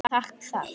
Taka það?